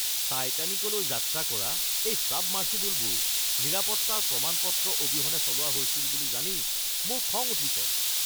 টাইটানিকলৈ যাত্ৰা কৰা এই ছাবমাৰ্চিবলবোৰ নিৰাপত্তাৰ প্ৰমাণ-পত্ৰ অবিহনে চলোৱা হৈছিল বুলি জানি মোৰ খং উঠিছে। (ব্যক্তি ১)